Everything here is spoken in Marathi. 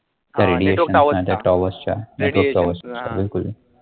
त्या radiations ने towers च्या network towers च्या बिलकुल